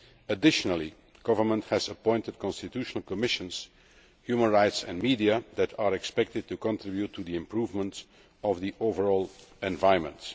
Additionally, the government has appointed constitutional commissions on human rights and the media, which are expected to contribute to the improvement of the overall environment.